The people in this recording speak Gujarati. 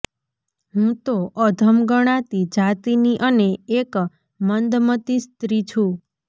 હું તો અધમ ગણાતી જાતિની અને એક મંદમતિ સ્ત્રી છું